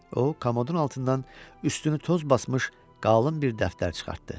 O kamodun altından üstünü toz basmış qalın bir dəftər çıxartdı.